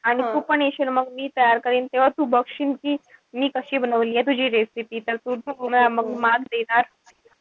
आणि तु पण येशील मग मी तयार करिन तेव्हा तू बघशील कि मी कशी बनवलीये. तुजी recipe तर. तुला मग marks देणार.